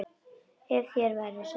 Ef þér væri sama.